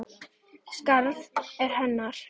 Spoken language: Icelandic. Skarðið er hennar.